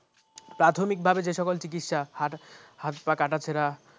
প্রাথমিকভাবে যে সকল চিকিৎসা হাস হাত পা কাটা ছিড়া